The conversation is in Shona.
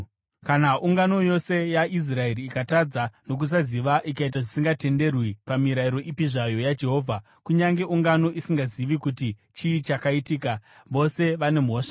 “ ‘Kana ungano yose yaIsraeri ikatadza nokusaziva ikaita zvisingatenderwi pamirayiro ipi zvayo yaJehovha, kunyange ungano isingazivi kuti chii chakaitika, vose vane mhosva.